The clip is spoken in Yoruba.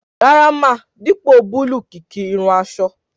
Rárá ma, dipo búlúù kìki irun aṣọ.